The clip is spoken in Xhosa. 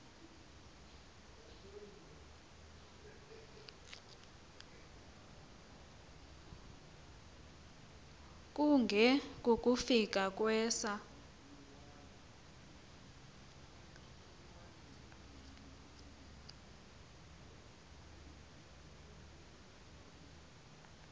kunge kukufika kwesa